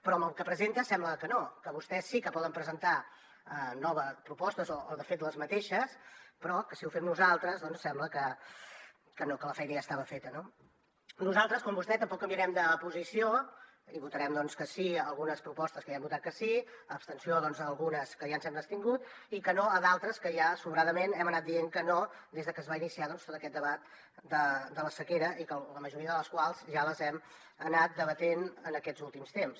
però amb el que presenta sembla que no que vostès sí que poden presentar noves propostes o de fet les mateixes però que si ho fem nosaltres doncs sembla que no que la feina ja estava feta no nosaltres com vostè tampoc canviarem de posició i votarem que sí a algunes propostes a què ja hem votat que sí abstenció doncs a algunes en què ja ens hem abstingut i que no a d’altres en què ja sobradament hem anat dient que no des de que es va iniciar tot aquest debat de la sequera i que la majoria de les quals ja les hem anat debatent en aquests últims temps